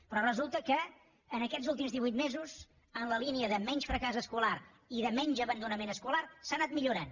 però resulta que aquests últims divuit mesos en la línia de menys fracàs escolar i de menys abandonament escolar s’ha anat millorant